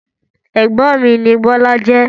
Ẹ̀gbọ́n mi ni Bọ́lá jẹ́.